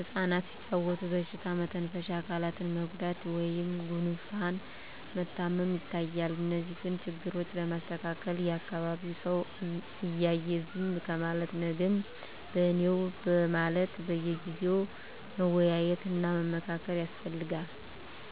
እፃናት ሲጫዎቱ በሽታ መተንፈሻ አካላት መጎዳት ወይም ጉፋን መታመም ይታያል። እነዚህን ችግሮች ለማስተካከል የአካቢዉ ሰው እያየ ዝም ከማለት ነገም በኔነው በማለት በየጊዜው መወያየት እና መመካከር ያስፈልጋል።